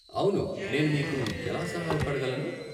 అవును, నేను మీకు ఎలా సహాయపడగలను?